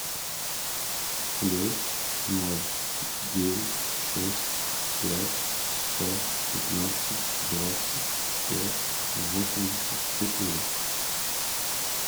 плюс ноль девять шесть пять сто пятнадцать двадцать пять восемьдесят четыре